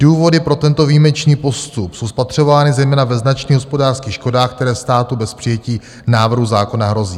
Důvody pro tento výjimečný postup jsou spatřovány zejména ve značných hospodářských škodách, které státu bez přijetí návrhu zákona hrozí.